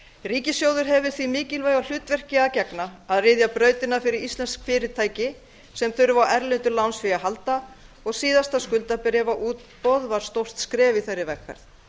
ríkissjóður hefur því mikilvæga hlutverki að gegna að ryðja brautina fyrir íslensk fyrirtæki sem þurfa á erlendu lánsfé að halda og síðasta skuldabréfaútboð var stórt skref í þeirri vegferð